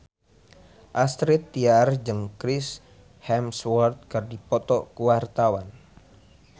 Astrid Tiar jeung Chris Hemsworth keur dipoto ku wartawan